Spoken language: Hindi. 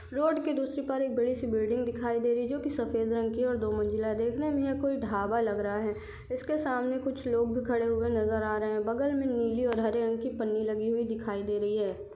रोड के दूसरे पार एक बड़ी सी बिल्डिंग दिखाई दे रही है जो की सफेद रंग की है और दो मंजिला देखने मे यह कोई ढाबा लग रहा है इसके सामने कुछ लोग भी खड़े हुए नज़र आ रहे है बगल मे नीली और हरे रंग की पन्नी लगी हुई दिखाई दे रही है।